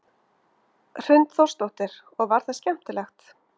Hrund Þórsdóttir: Og var það skemmtilegt?